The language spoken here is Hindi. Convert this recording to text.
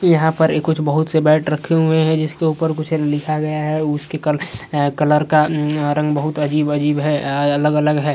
यहाँ पर ए कुछ बहुत से बैट रखे हुए हैं जिसके ऊपर कुछ लिखा गया है। उसके कल कलर का म्म रंग बहुत अजीब अजीब है। अ अलग-अलग है।